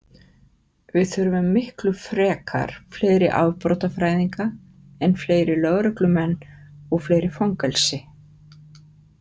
Við þurfum miklu frekar fleiri afbrotafræðinga en fleiri lögreglumenn og fleiri fangelsi.